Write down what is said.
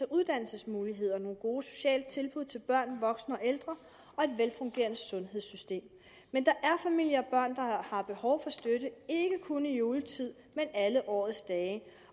uddannelsesmuligheder og nogle gode sociale tilbud til børn voksne og ældre og et velfungerende sundhedssystem men der er familier og har behov for støtte ikke kun i juletid men alle årets dage